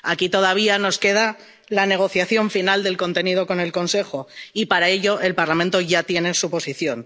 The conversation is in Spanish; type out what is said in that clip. Aquí todavía nos queda la negociación final del contenido con el Consejo y, para ello, el Parlamento ya tiene su posición.